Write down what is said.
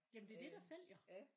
Jamen det er det der sælger